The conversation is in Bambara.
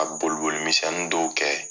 Ka boli boli minsɛnninw dɔw kɛ